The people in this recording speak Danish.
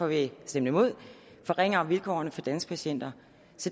at vi har stemt imod forringer vilkårene for de danske patienter